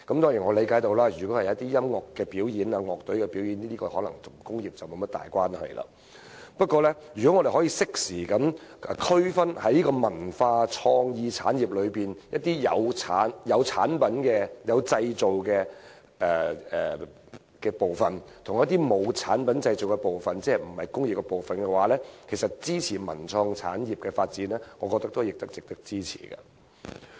當然，我理解到一些音樂表演或樂隊表演可能與工業沒有太大關係，但如果我們可以適當區分文化創意產業中涉及產品製造的範疇和不涉及產品製造的範疇，即非工業範疇，其實我認為文創產業的發展也是值得支持的。